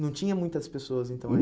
Não tinha muitas pessoas, então,